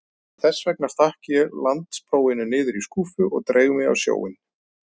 Þessvegna stakk ég landsprófinu niður í skúffu og dreif mig á sjóinn.